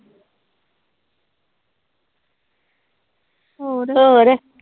ਹੋਰ।